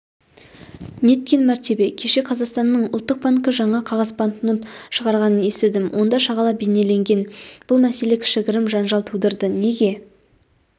неткен мәртебе кеше қазақстанның ұлттық банкі жаңа қағаз банкнот шығарғанын естідім онда шағала бейнеленген бұл мәселе кішігірім жанжал тудырды неге